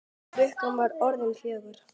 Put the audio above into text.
Klukkan var orðin fjögur.